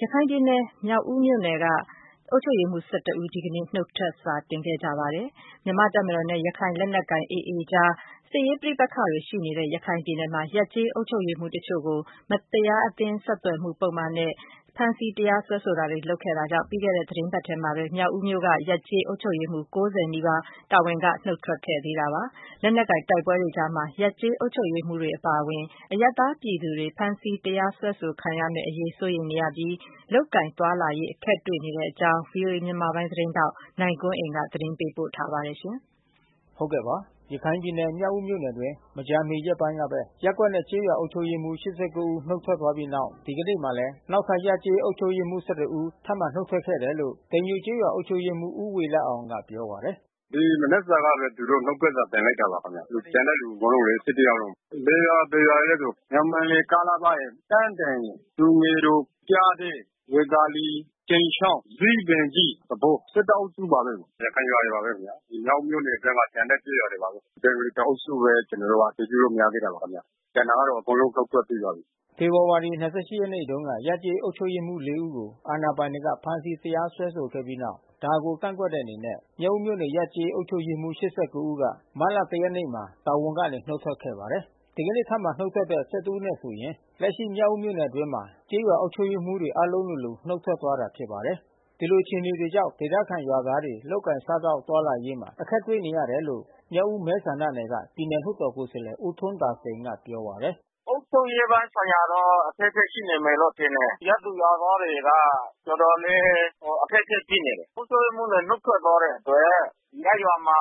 ရခိုင်ပြည်နယ် မြောက်ဦးမြို့နယ်က အုပ်ချုပ်ရေးမှူး ဦး ဒီကနေ့ နုတ်ထွက်စာ တင်လိုက်ပါတယ်။ မြန်မာ့တပ်မတော်နဲ့ ရခိုင်လက်နက်ကိုင် AA အကြား စစ်ရေး ပဋိပက္ခတွေ ရှိနေတဲ့ ရခိုင်ပြည်နယ်မှာ ရပ်-ကျေး အုပ်ချုပ်ရေးမှူး တချို့ကို မတရား အသင်း ဆက်သွယ်မှု ပုဒ်မနဲ့ ဖမ်းဆီး တရားစွဲဆိုတာတွေ လုပ်ခဲ့တာကြောင့် ပြီးခဲ့တဲ့ သီတင်းပတ်ထဲမှာပဲ မြောက်ဦးမြို့က ရပ်-ကျေး အုပ်ချုပ်ရေးမှူး ၉၀ နီးပါး တာဝန်က နုတ်ထွက်ခဲ့သေးတာပါ။ လက်နက်ကိုင် တိုက်ပွဲတွေကြားမှာ ရပ်ကျေးအုပ်ချုပ်ရေး မှူးတွေ အပါအဝင် အရပ်သားပြည်သူတွေ ဖမ်းဆီး တရားစွဲဆို ခံရမယ့်အရေး စိုးရိမ်နေရပြီး လုပ်ကိုင်သွားလာရေး အခက်တွေ့ နေတဲ့အကြောင်း ဗွီအိုအေမြန်မာပိုင်း သတင်းထောက် နိုင်ကွန်းအိန်က သတင်းပေး ပို့ထားပါတယ်။ ရခိုင်ပြည်နယ်၊ မြောက်ဦးမြို့နယ်အတွင်း မကြာမီရက်ပိုင်းကပဲ ရပ်ကွက်နဲ့ကျေးရွာ အုပ်ချုပ်ရေးမှူး ဦး နုတ်ထွက် သွားပြီးတဲ့နောက် ဒီကနေ့မှာလဲ နောက်ထပ် ရပ်ကျေးအုပ်ချုပ်ရေးမှူး ဦး ထပ်မံနုတ်ထွက်ခဲ့တယ်လို့ တိမ်ညိုကျေးရွာ အုပ်ချုပ်ရေးမှူး ဦးဝေလအောင်ကပြောပါတယ်။ “ဒီမနက်ကဘဲ သူတို့နုတ်ထွက်စာတင်လိုက်တာပါခင်ဗျ။ ကျန်တဲ့သူ အကုန်လုံးလေ ယောက်လုံး။ ဘယ်ရွာ ဘယ်ရွာ တွေလဲဆို ညောင်ပင်လယ် ၊ တန်းတင်ရယ်၊ သူငယ်တော်၊ ပျားတဲ၊ ဇီးပင်ကြီး၊ ဝေသာလီ၊ ကြိမ်ချောင်း သဘော အုပ်စုပါဘဲ။ ရခိုင်ရွာတွေပါဘဲ။ ဒီမြောက်ဦးမြို့နယ်ထဲမှာ ကျန်တဲ့ကျေးရွာတွေပါဘဲ။ ဘင်္ဂါလီတအုပ်စုဘဲ ကျွန် တော်တို့အတည်ပြုလို့ မရ သေးတာပါခင်ဗျ။ ကျန်တာကတော့ အကုန်လုံးနုတ်ထွက် ပြီးပါပြီ။” ဖေဖေါ်ဝါရီ ရက်နေ့တုန်းက ရပ်ကျေးအုပ်ချုပ်ရေးမှူး ၄ ဦးကို အာဏာပိုင်တွေက ဖမ်းဆီးတရားစွဲဆိုခဲ့ပြီးတဲ့နောက် ဒါကို ကန့်ကွက်တဲ့အနေနဲ့ မြောက်ဦးမြို့နယ်က ရပ်/ကျေး အုပ်ချုပ်ရေးမှူး ဦးက မတ်လ ရက်နေ့မှာ တာဝန်ကနေ နုတ် ထွက်ခဲ့ပါတယ်။ ဒီကနေ့ ထပ်မံနုတ်ထွက်တဲ့ ဦး နဲ့ဆိုရင် လက်ရှိမြောက်ဦး မြို့နယ်အတွင်းမှာ ကျေးရွာအုပ်ချုပ် ရေးမှူး တွေအားလုံး လိုလို နုတ်ထွက်သွားတာဖြစ်ပါတယ်။ ဒီလိုအခြေအနေတွေကြောင့် ဒေသ ခံကျေးရွာသားတွေ လုပ်ကိုင်စား သောက်သွားလာရေးမှာ အခက်တွေ့နေရတယ်လို့ မြောက်ဦးမဲဆန္ဒနယ်က ပြည်နယ် လွှတ်တော်ကိုယ်စားလှယ် ဦးထွန်း သာစိန်ကပြောပါတယ်။ “အုပ်ချုပ်ရေးပိုင်းဆိုင်ရာတော့ အခက်ခဲရှိနေမယ်လို့ ထင်တယ်။ ရပ်သူရွာသားတွေက တော်တော်လေး အခက်ခဲဖြစ် နေတယ်။ အုပ်ချုပ်ရေးမှူးတွေ နုတ်ထွက်သွားတဲ့အတွက် ရပ်ရွာမှာ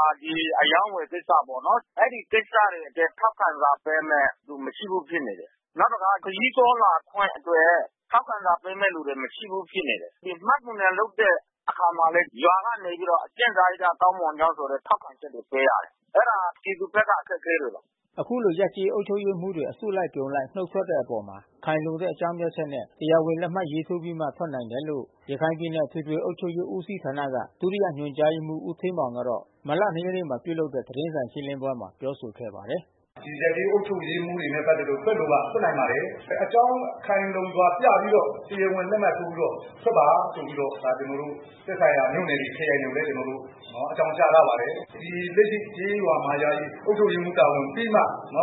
အရောင်းဝယ်ကိစ္စပေါ့နော်။ အဲဒီကိစ္စတွေအတွက် ထောက်ခံစာ ပေးမယ့်သူ မရှိဘူးဖြစ်နေတယ်။ နောက်တခါ ခရီးသွားလာခွင့် အတွက် ထောက်ခံစာ ပေးမဲ့သူမရှိဘူးဖြစ်နေ တယ်။ မှတ်ပုံတင်လုပ်တဲ့ အခါမှာ လဲ ရွာကနေပြီးတော့အကျင့်စာရိတ္တကောင်းမွန်ကြောင်းဆိုပြီးတော့ ထောက်ခံချက် တွေပေးရတယ်။ အဲတာပြည်သူဘက်က အခက်ခဲတွေပါ။” အခုလို ရပ်ကျေးအုပ်ချုပ်ရေးမှူးတေ ွအစုအပြုံလိုက် နုတ်ထွက်တဲ့ အပေါ်မှာ ခိုင်လုံတဲ့အကြောင်းပြချက်နဲ့ တရား ဝင်လက် မှတ်ထိုးပြီးမှ ထွက်နိုင် တယ်လို့ ရခိုင်ပြည်နယ်အထွေထွေအုပ်ချုပ်ရေး ဦးစီးဌာနမှ ဒုတိယညွှန်ကြားရေးမှူး ဦးဌေးမောင်ကတော့ မတ်လ ၂ ရက်နေ့ကပြုလုပ်တဲ့ သတင်းစာရှင်းလင်းပွဲ မှာ ပြောဆိုခဲ့ပါတယ်။ “ဒီရပ်ကျေးအုပ်ချုပ်ရေးမှူးတွေနဲ့ပက်သက်လို့ ထွက်လိုက ထွက်နိုင်ပါတယ်။ အကြောင်းခိုင်လုံစွာပြပြီးတော့ တရားဝင်လက်မှတ် ထိုးပြီးတော့ထွက်ပါ ဆိုပြီးတော့ ဒါကျွန်တော်တို့ သက်ဆိုင်ရာမြို့နယ်တွေ ခရိုင်တွေ ကိုလဲ ကျွန်တော်တို့ အကြောင်းကြားထား ပါတယ်။ ဒီလက်ရှိကျေးရွာ မှာယာယီအုပ်ချုပ်ရေးမှူး တာဝန်ပြီးမှ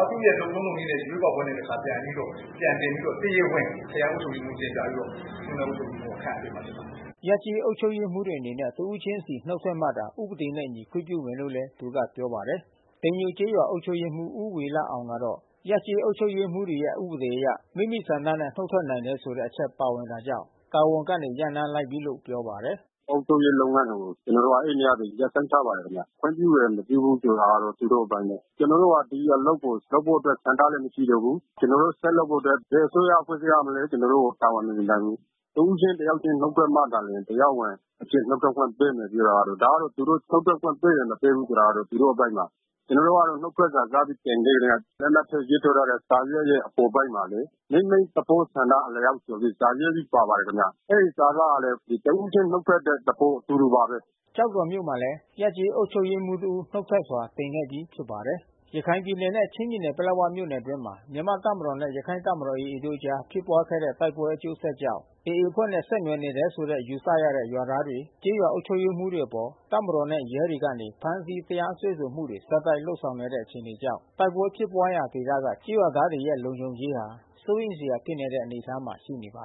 သူ့ရဲ့လုပ်ထုံးလုပ်နည်းနဲ့ ရွေး ကောက် ပွဲနဲ့ တခါပြန်ပြီးတော့ ပြန်တင်ပြီးတော့ တရားဝင် ခရိုင်အုပ်ချုပ်ရေးမှူး ကိုတင်ပြပြီးတော့ မြို့နယ်အုပ်ချုပ်ရေးမှူးက ခန့်အပ်ပေးမှာဖြစ်ပါတယ်။” ရပ်ကျေးအုပ်ချုပ်ရေးမှူးတွေအနေနဲ့တစ်ဦးချင်းစီ နုတ်ထွက်မှသာ ဥပဒေနှင့်အညီ ခွင့်ပြုမယ်လို့လဲ သူကပြောပါတယ်။ တိမ်ညိုကျေးရွာအုပ်ချုပ်ရေးမှူး ဦးဝေလအောင်ကတော့ ရပ်ကျေးအုပ်ချုပ်ရေးမှူးတွေရဲ့ ဥပဒေအရ မိမိဆန္ဒနဲ့နုတ် ထွက်နိုင် တယ်ဆိုတဲ့ အချက်ပါဝင်တာကြောင့် တာဝန်ကနေ ရပ်နားလိုက်ပြီလို့ ပြောပါတယ်။ “အုပ်ချုပ်ရေးလုပ်ငန်းတွေကို ကျွန်တော်တို့အဲဒီနေ့ကဘဲ ရပ်ဆိုင်းထားပါတယ်ခင်ဗျ။ ခွင့်ပြုတယ်မပြုဘူးဆိုတာ သူတို့ အပိုင်း ဘဲ။ ကျွန်တော်တို့က ဒီအလုပ်ကို လုပ်ဖို့အတွက် ဆန္ဒလဲမရှိတော့ဘူး။ ကျွန်တော်တို့ ဆက်လုပ်ဖို့ အတွက် ဘယ်အစိုးရ အဖွဲ့ အစည်းကမှ ကျွန်တော်တို့ကို တာဝန်မယူနိုင်ဘူး။ တဦးချင်းတယောက်ချင်း နုတ်ထွက်မှာသာလျှင် တရားဝင်အဖြစ် နုတ်ထွက် ခွင့်ပေးမယ်ပြောတာ ကတော့ ဒါကတော့ သူတို့နုတ်ထွက်ခွင့်ပေးမယ် မပေးဘူးဆိုတာ သူတို့ အပိုင်းပါ။ ကျွန်တော်တို့က နုတ် ထွက်စာစပြီးတင်စကတည်းက လက်မှတ်ရေးထိုးထားတဲ့စာရွက်ရဲ့ အပေါ်ပိုင်းမှာလဲဘဲ မိမိသဘောဆန္ဒအလျှောက်ဆိုပြီး စာရေး ပြီး ပါပါတယ်ခင်ဗျ။ အဲဒီစာသားဟာဘဲ တဦးချင်းနုတ်ထွက်တဲ့ သဘောဆိုလို ပါတယ်။” ကျောက်တော်မြို့မှာလဲ ရပ်ကျေးအုပ်ချုပ်ရေးမှူး တဦးနုတ်ထွက်စာ တင်ခဲ့ပြီးဖြစ်ပါတယ်။ ရခိုင်ပြည်နယ်နဲ့ချင်းပြည်နယ်ပလက်ဝမြို့နယ်အတွင်းမှာ မြန်မာ့ တပ်မတော်နဲ့ရခိုင့်တပ်မတော် AAတို့ အကြားဖြစ်ပွား ခဲ့ တဲ့ တိုက်ပွဲ အကျိုးဆက်ကြောင့် AA အဖွဲ့နဲ့ဆက်နွယ်နေတယ်လို့ယူဆရတဲ့ ရွာသားတွေ ကျေးရွာအုပ်ချုပ်ရေးမှူး တွေအပေါ် တပ်မတော်နဲ့ရဲတွေကနေ ဖမ်းဆီး တရားစွဲဆိုမှုတွေ ဆက်တိုက်လုပ်ဆောင်နေတဲ့အခြေအနေကြောင့် တိုက်ပွဲဖြစ်ပွားနေတဲ့ဒေသက ကျေးရွာသားတွေရဲ့လုံခြုံရေးဟာ စိုးရိမ်စရာဖြစ်နေတဲ့အနေအထားမှာရှိနေတာပါ။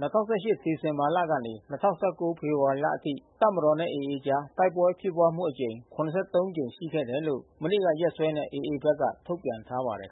၂၀၁၈ ဒီဇင်ဘာလကနေ ၂၀၁၉ ဖေဖေါ်ဝါရီလအထိ တပ်မတော်နဲ့AAတို့အကြား တိုက်ပွဲဖြစ်ပွားမှု အကြိမ် ကြိမ် ရှိခဲ့တယ် လို့ မနေ့ကရက်စွဲနဲ့AA ဘက်က ထုတ်ပြန်ထားပါတယ်